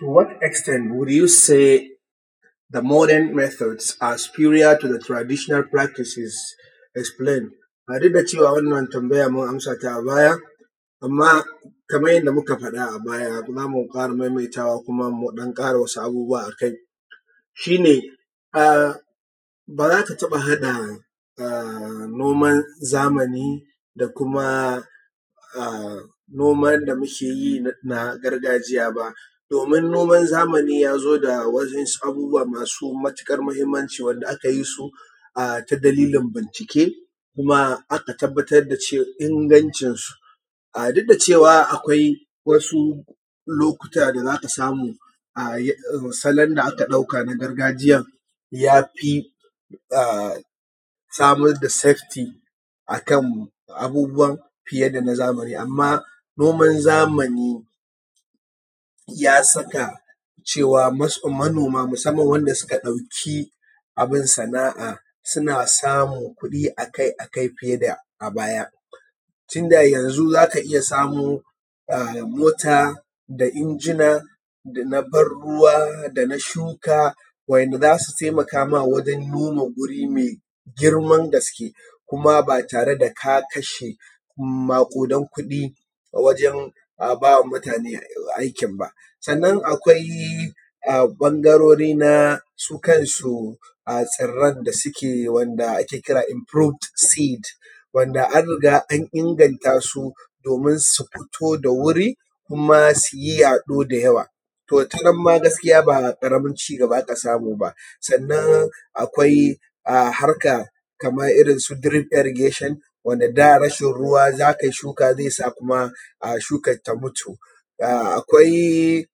To what extended will you say the modern method are superior to the traditional practices? Explain. Duk da cewa wannan tambayan mun amsa ta a baya, amma kamar yanda muka faɗa a baya zamu fara maimaitawa, kuma mu ɗan ƙara wasu abubuwa akai, shi ne ba za ka taɓa haɗa noman zamani da kuma noman da muke yi na gargajiya ba, domin noman zamani ya zo da waɗansu abubuwa masu matuƙar muhinmanci wanda aka yi su ta dalilin bincike, kuma aka tabbatar da cewa inganci su. Duk da cewa akwai wasu lokuta da za ka samu a salon da aka ɗauka na gargajiyan ya fi samar da safety akan abubuwa fiye da na zamani, amma noma zamani ya saka cewa manoma musaman wanda suka ɗauki abin sana'a suna samun kuɗi akai akai fiye da a baya. Tunda yanzu za ka iya samo mota, da injina, da na ban ruwa, da na shuka, wa'inda za su taimaka ma wajen noma guri mai girman gaske, kuma ba tare da ka kashe maƙudan kuɗi wajen ba wa mutane aikin ba. Sannan akwai ɓangarori na su kansu tsiran da suke wanda ake kira improved seed wanda an riga an inganta su domin su fito da wuri, kuma su yi yaɗo da yawa. To ta nan ma gaskiya ba ƙaramin cigaba aka samu ba. Sannan akwai harka kamar irin su green irragation wanda da rashin ruwa za kai shuka zai sa shuka ta mutu. Akwai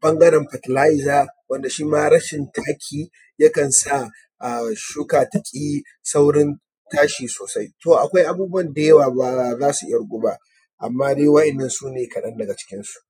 ɓangaran faterlizer wanda shi ma rashin taki yakan sa shuka ta ƙi saurin tashi sosai. To akwai abubuwa da yawa wanda ba za su ƙirgu ba, amma dai wa’innan sune kaɗan daga cikinsu.